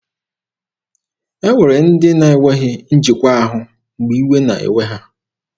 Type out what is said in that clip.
E nwere ndị na-enweghị njikwa ahụ mgbe iwe na-ewe ha.